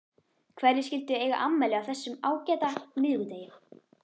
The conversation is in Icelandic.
Hverjir skyldu eiga afmæli á þessum ágæta miðvikudegi?